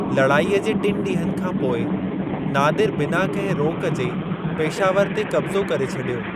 लड़ाईअ जे टिन ॾींहनि खां पोइ, नादिर बिना कंहिं रोक जे पेशावर ते कब्ज़ो करे छॾियो।